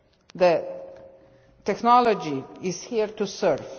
The technology is here to serve.